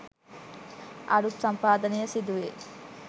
අරුත් සම්පාදනය සිදුවේ.